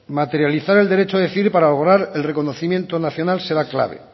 materializar el derecho de elegir para lograr el reconocimiento nacional será clave